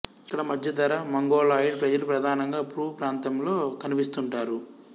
ఇక్కడ మధ్యధరా మంగోలాయిడ్ ప్రజలు ప్రధానంగా పూ ప్రాంతంలో కనిపిస్తుంటారు